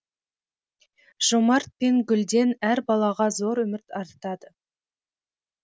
жомарт пен гүлден әр балаға зор үміт артады